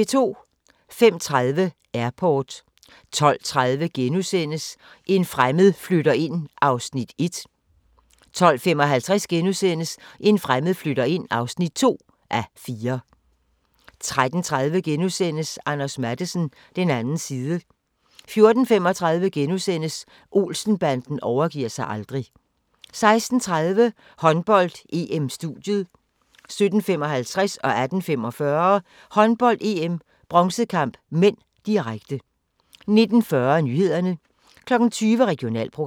05:30: Airport 12:30: En fremmed flytter ind (1:4)* 12:55: En fremmed flytter ind (2:4)* 13:30: Anders Matthesen - den anden side * 14:35: Olsen-banden overgiver sig aldrig * 16:30: Håndbold: EM - studiet 17:55: Håndbold: EM - bronzekamp (m), direkte 18:45: Håndbold: EM - bronzekamp (m), direkte 19:40: Nyhederne 20:00: Regionalprogram